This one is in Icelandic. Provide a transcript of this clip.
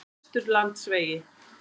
Vesturlandsvegi